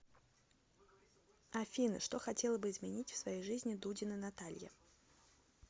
афина что хотела бы изменить в своей жизни дудина наталья